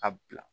A bila